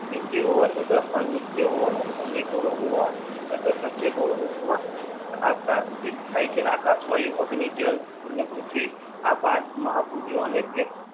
નીતિઓ હોવા છતાં અનિત્ય હોવાનો નિર્ગુણ હોવાનો છતાં સત્ય ગુણ રૂપમાં આ પ્રાચીન થાય છે અને આકાશ વાયુ અગ્નિ જલ અને પૃથ્વી આ પાંચ મહાભુજો અનેક